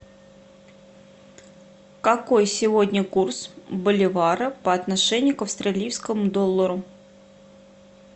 какой сегодня курс боливара по отношению к австралийскому доллару